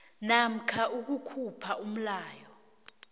namkha ukukhupha umlayo